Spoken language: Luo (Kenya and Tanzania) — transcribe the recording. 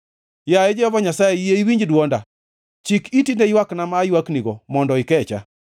Yaye Jehova Nyasaye, yie iwinj dwonda. Chik iti ne ywakna ma aywaknigo mondo ikecha.